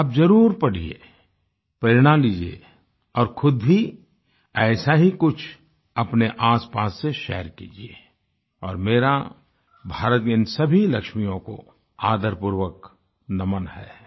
आप जरुर पढ़िये प्रेरणा लीजिये और खुद भी ऐसा ही कुछ अपने आसपास से शेयर कीजिये और मेरा भारत की इन सभी लक्ष्मियों को आदरपूर्वक नमन है